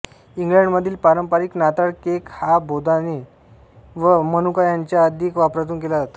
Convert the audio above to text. इंग्लंडमधील पारंपरिक नाताळ केक हा बेदाणे व मनुका यांच्या अधिक वापरातून केला जातो